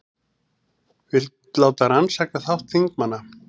Vill láta rannsaka þátt þingmanna